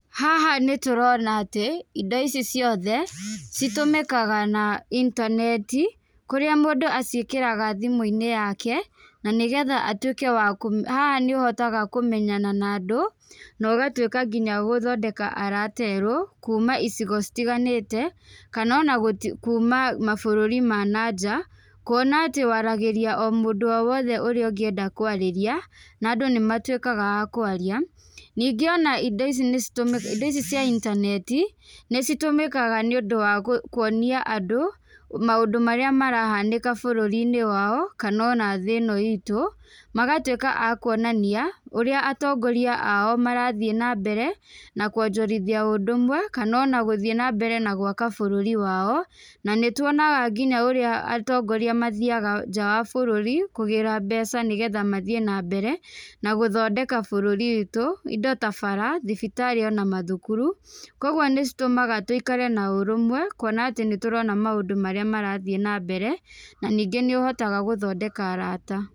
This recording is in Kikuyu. Haha nĩtũrona atĩ, indo ici ciothe, citũmĩkaga na intaneti, kũrĩa mũndũ aciĩkagĩra thimũ-inĩ yake, nanĩgetha twĩke wa kũmĩ haha nĩũhotaga kũmenyana na andũ, nogatwĩka nginya gũthondeka arata erũ, kuma icigo citiganĩte, kanona gũti kuma mabũrũri ma nanja, kuona atĩ waragĩria o mũndũ owothe úrĩa ũngĩenda kwarĩria, na andũ nĩmatwĩkaga a kũaria, ningĩ ici nĩcitũmĩ indi ici cia intaneti, nĩcitũmĩkaga nĩũndũ wa gũ kuonia andũ, maũndũ marĩa marahanĩka bũrũri-inĩ wao, knanona thí ĩno itú, magatwĩka a kuonania, ũrĩa atongoria ao marathiĩ nambere na kuonjorithia ũndũmwe, kanona gũthiĩ nambere na gwaka bũrũri wao, nanĩtwonaga nginya ũrĩa atongoria mathiaga nja wa bũrũri kũgĩra mbeca nĩgetha mathiĩ nambere na gũthondeka bũrũri witũ, indo ta bara, thibitarĩ ona mathukuru, koguo nĩcitũmaga tũikare na ũrũmwe, kuona atĩ nĩtũrona maũndũ marĩa marathiĩ nambere naningĩ nĩũhotaga gũthondeka arata.